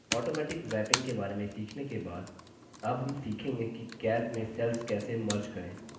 automatic wrapping के बारे में सीखने के बाद अब हम सीखेंगे कि calc में cells कैसे merge विलीन करें